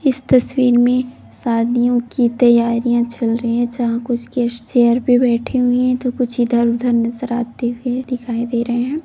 इस तस्वीर में शादियों की तैयारियां चल रही है जहां कुछ गेस्ट चेयर पर बैठे हुए हैं तो कुछ इधर-उधर नैजराते हुए दिखाई दे रहे है ।